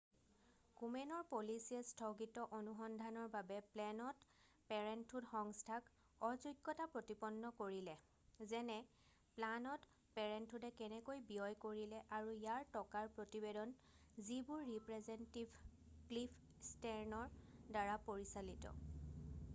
কোমেনৰ পলিচিয়ে স্থগিত অনুসন্ধানৰ বাবে প্লেনড পেৰেণ্টহুড সংস্থাক অযোগ্যতা প্ৰতিপন্ন কৰিলে যেনে প্লানড পেৰেণ্টহুডে কেনেকৈ ব্যয় কৰিলে আৰু ইয়াৰ টকাৰ প্ৰতিবেদন যিবোৰ ৰিপ্ৰেজেণ্টেটিভ ক্লিফ ষ্টেৰ্ণৰ দ্বাৰা পৰিচালিত